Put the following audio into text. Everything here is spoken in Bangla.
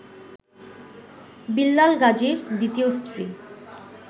বিল্লাল গাজীর দ্বিতীয় স্ত্রী